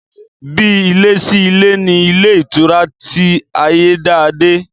Bí ilé sí ilé ni ilé ìtura ti Ayédáadé